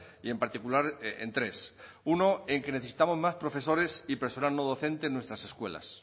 y en particular en tres uno en que necesitamos más profesores y personal no docente en nuestras escuelas